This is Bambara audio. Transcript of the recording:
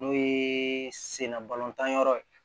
N'o ye senna balotan yɔrɔ ye